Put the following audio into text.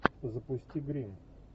запусти гримм